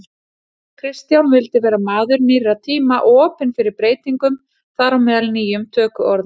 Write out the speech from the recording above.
Kristján vildi vera maður nýrra tíma og opinn fyrir breytingum, þar á meðal nýjum tökuorðum.